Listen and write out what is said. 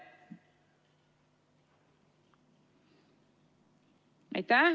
Aitäh!